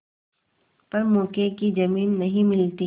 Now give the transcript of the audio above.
पर मौके की जमीन नहीं मिलती